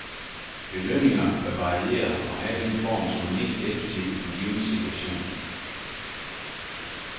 Belønninger bør variere og have den form, som er mest effektiv i den givne situation.